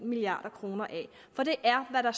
milliard kroner af for det er hvad der